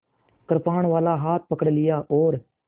कृपाणवाला हाथ पकड़ लिया और